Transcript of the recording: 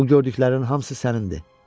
Bu gördüklərinin hamısı sənindir.